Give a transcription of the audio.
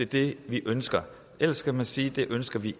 det vi ønsker ellers skal man sige at det ønsker vi